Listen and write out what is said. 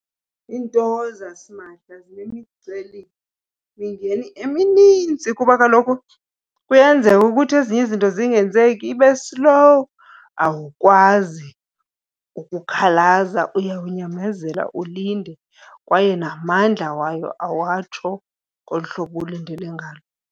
Iinto zasimahla zinemicelimingeni eminintsi kuba kaloku kuyenzeka ukuthi ezinye izinto zingenzeki, ibe slow. Awukwazi ukukhalaza uyawuyamezela ulinde kwaye namandla wayo awatsho ngolu hlobo ulindele ngalo.